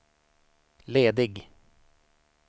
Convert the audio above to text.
ledig